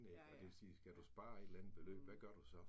Og det vil sige, skal du spare et eller andet beløb, hvad gør du så?